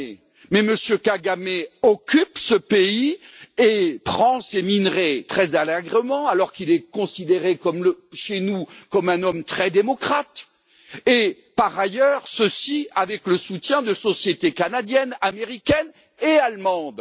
Kagame mais celui ci occupe ce pays et prend ces minerais très allègrement alors qu'il est considéré chez nous comme un homme très démocrate et, par ailleurs, ceci avec le soutien de sociétés canadiennes, américaines et allemandes.